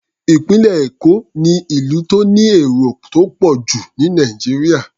Ìpínlẹ̀ Èkó ni ìlú tó ní èrò tó pọ̀ jù ní Nàìjíríà.